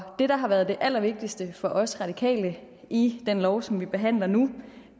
det der har været det allervigtigste for os radikale i den lov som vi behandler nu